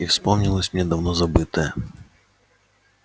и вспомнилось мне давно забытое